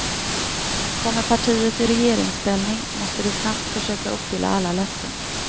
Kommer partiet i regeringsställning måste det snabbt försöka uppfylla alla löften.